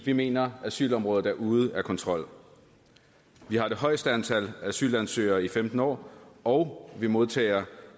vi mener at asylområdet er ude af kontrol vi har det højeste antal asylansøgere i femten år og vi modtager